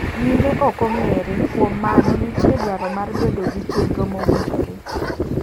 Nyime okong'ere, kuom mano nitie dwaro mar bedo gi chenro mowinjore.